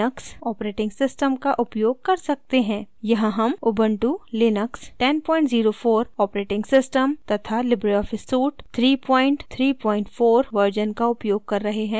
यहाँ हम Ubuntu Linux 1004 operating system तथा लिबरे ऑफिस सूट 334 वर्ज़न का उपयोग कर रहे हैं